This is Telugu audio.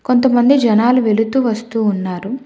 కొంతమంది జనాలు వెళుతూ వస్తూ ఉన్నారు.